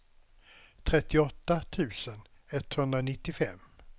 trettioåtta tusen etthundranittiofem